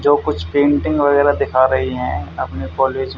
जो कुछ पेंटिंग वगैरह दिखा रही हैं अपने कॉलेज --